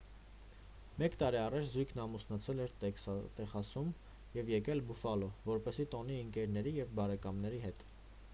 մեկ տարի առաջ զույգն ամուսնացել էր տեքսասում և եկել բուֆալո որպեսզի տոնի ընկերների և բարեկամների հետ